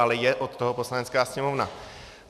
Ale od toho je Poslanecká sněmovna.